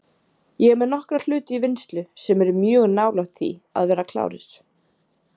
Ég er með nokkra hluti í vinnslu sem eru mjög nálægt því að vera klárir.